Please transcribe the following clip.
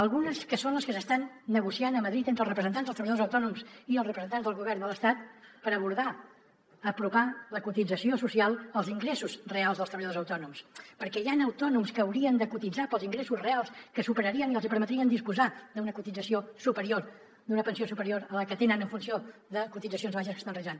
algunes que són les que s’estan negociant a madrid entre els representants dels treballadors autònoms i els representants del govern de l’estat per abordar apropar la cotització social als ingressos reals dels treballadors autònoms perquè hi han autònoms que haurien de cotitzar pels ingressos reals que superarien i els hi permetrien disposar d’una cotització superior d’una pensió superior a la que tenen en funció de cotitzacions baixes que estan realitzant